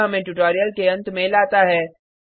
यह हमें ट्यूटोरियल के अंत में लाता है